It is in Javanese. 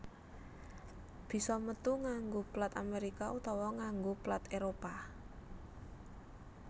bisa metu nganggo plat Amerika utawa nganggo plat Éropah